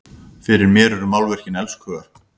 Fyrir mér eru málverkin elskhugar!